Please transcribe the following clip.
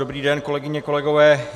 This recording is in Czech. Dobrý den, kolegyně, kolegové.